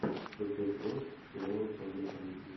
шестой сезон сериала черные комедии